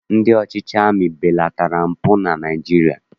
Ndị ọchịchị amị belatara mpụ na Naịjirịa